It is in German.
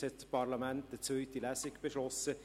Jetzt hat das Parlament eine zweite Lesung beschlossen.